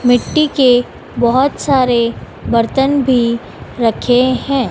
मिट्टी के बहोत सारे बर्तन भी रखे हैं।